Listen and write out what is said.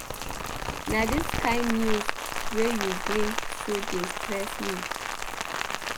Na dis kain news wey you bring so dey stress pesin.